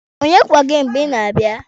Onye kwọ gị mgbe ị na-abịa?